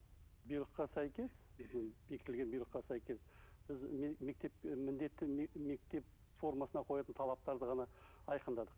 бұйрыққа сәйкес біздің бекітілген бұйрыққа сәйкес біз мектеп і міндетті мектеп формасына қоятын талаптарды ғана айқындадық